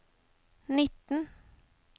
nitten